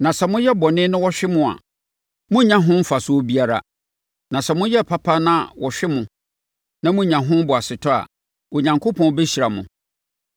Na sɛ moyɛ bɔne na wɔhwe mo a, morennya ho mfasoɔ biara. Na sɛ moyɛ papa na wɔhwe mo na monya ho boasetɔ a, Onyankopɔn bɛhyira mo.